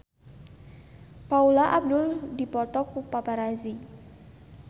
Paula Abdul dipoto ku paparazi